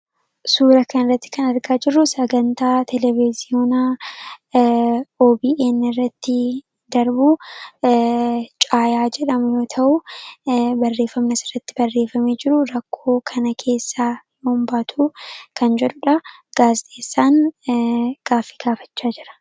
suura kan irratti kan argaa jiru sagantaa televiziyoonaa obn irratti darbuu caayaa jedhamyoo ta'u barreefamnas irratti barreefamii jiru rakkoo kana keessaa ombaatu kan jedhuudha gaasxeessaan gaafi gaafachaa jira